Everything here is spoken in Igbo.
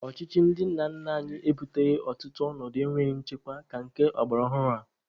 Ọchịchị ndị nna nna anyị ebuteghị ọtụtụ ọnọdụ enweghị nchekwa ka nke ọgbaraọhụrụ a.